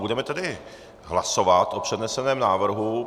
Budeme tedy hlasovat o předneseném návrhu.